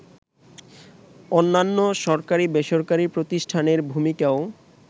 অন্যান্য সরকারি-বেসরকারি প্রতিষ্ঠানের ভূমিকাও